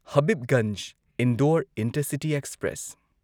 Habibganj Indore intercity express